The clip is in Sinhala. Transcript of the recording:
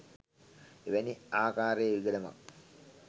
එවැනි ආකාරයේ විගඩමක්